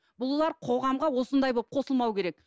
бұлар қоғамға осындай болып қосылмауы керек